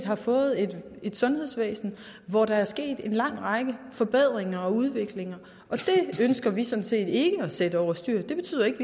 har fået et sundhedsvæsen hvor der er sket en lang række forbedringer og udviklinger og det ønsker vi sådan set ikke at sætte over styr det betyder ikke at